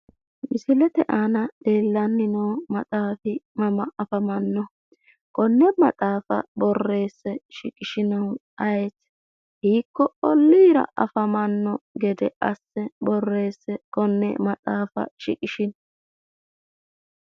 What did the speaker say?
Misilete aana leellanni no maxaafi mama afamannoho? konne maxaafa borreesse shiqishinohu ayeeyi? Hikko ollira afamanno gede asse shiqishino?